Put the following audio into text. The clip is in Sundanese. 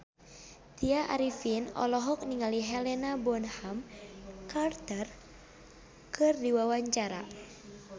Tya Arifin olohok ningali Helena Bonham Carter keur diwawancara